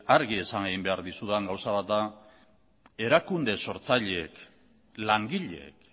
argi esan behar dizudan gauza bat da erakunde sortzaileek langileek